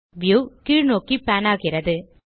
view கீழ் நோக்கி pan ஆகிறது